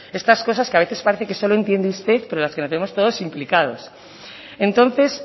estas cosas que a veces parece que solo entiende usted pero en la que nos vemos todos implicados entonces